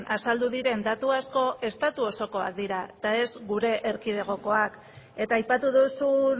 azaldu diren datu asko estatu osokoak dira eta ez gure erkidegokoak eta aipatu duzun